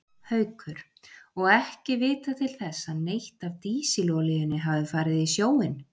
Haukur: Og ekki vitað til þess að neitt af dísilolíunni hafi farið í sjóinn?